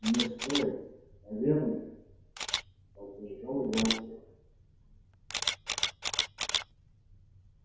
не стоит наверное поддержал его артем